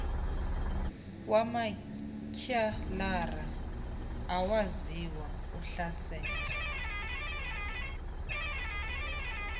wamatyhalarha awaziwa uhlasela